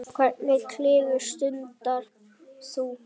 Hvernig klifur stundar þú?